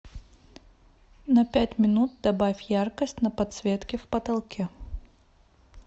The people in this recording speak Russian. на пять минут добавь яркость на подсветке в потолке